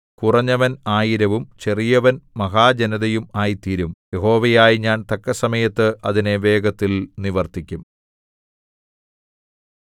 കുറഞ്ഞവൻ ആയിരവും ചെറിയവൻ മഹാജനതയും ആയിത്തീരും യഹോവയായ ഞാൻ തക്കസമയത്ത് അതിനെ വേഗത്തിൽ നിവർത്തിക്കും